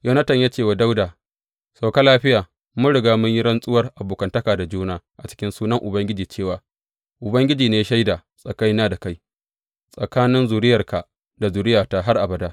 Yonatan ya ce wa Dawuda, Sauka lafiya, mun riga mun yi rantsuwar abokantaka da juna a cikin sunan Ubangiji cewa, Ubangiji ne shaida tsakanina da kai, tsakanin zuriyarka da zuriyata har abada.’